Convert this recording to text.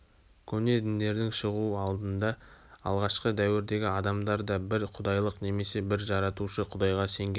көне діндердің шығуы алдында алғашқы дәуірдегі адамдарда бір құдайлық немесе бір жаратушы құдайға сенген